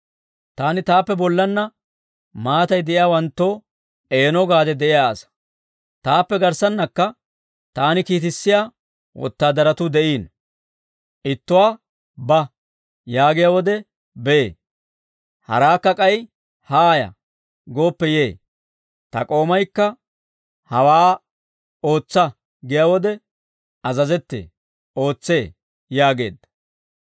Taani taappe bollanna maatay de'iyaawanttoo eeno gaade de'iyaa asaa. Taappe garssannakka taani kiitissiyaa wotaadaratuu de'iino. Ittuwaa, ‹Ba› yaagiyaa wode, bee; haraakka k'ay, ‹Haaya› gooppe yee. Ta k'oomaykka, hawaa ‹Ootsa› giyaa wode azazettee; ootsee» yaageedda.